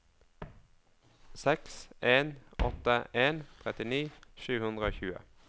seks en åtte en trettini sju hundre og tjue